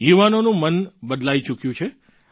યુવાનોનું મન બદલાઈ ચૂક્યું છે